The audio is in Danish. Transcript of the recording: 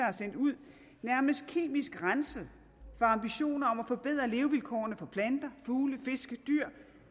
er sendt ud nærmest kemisk renset for ambitioner om at forbedre levevilkårene for planter fugle fisk